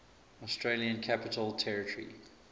australian capital territory